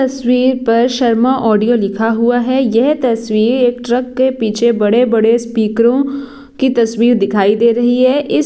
तस्वीर पर शर्मा ऑडियो लिखा हुआ है यह तस्वीर एक ट्रक के पीछे बड़े - बड़े स्पीकरो की तस्वीर दिखाई दे रही है इस--